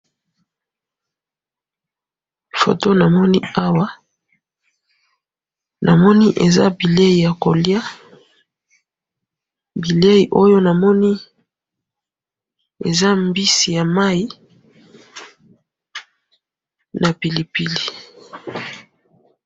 photo namoni awa namoni eza bileyi ya koliya, bileyi oyo namoni eza mbisi ya mayi na pili pili.